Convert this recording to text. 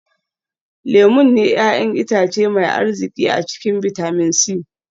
Lemun ne 'ya'yan itace mai arziki a cikin bitamin c